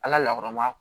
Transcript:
Ala lakɔrɔba